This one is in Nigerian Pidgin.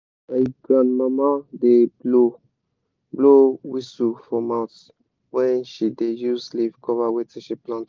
my grandmama da blow blow whisu for mouth when she da use leave cover wetin she plant